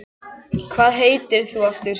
Hvað heitir þú aftur?